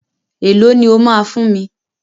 E lọ ni ó ma fún mi?